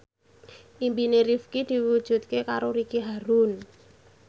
impine Rifqi diwujudke karo Ricky Harun